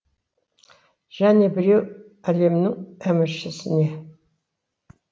және біреу әлемнің әміршісіне